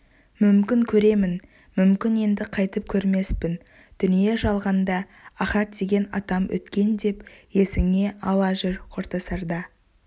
мүмкін көремін мүмкін енді қайтып көрмеспін дүние-жалғанда ахат деген атам өткен деп есіңе ала жүр қоштасарда